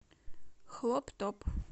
хлоп топ